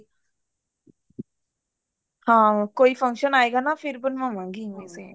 ਹਾਂ ਕੋਈ function ਆਵੇਗਾ ਨਾ ਫ਼ੇਰ ਬਣਵਾਵਾਂਗੀ ਮੈਂ same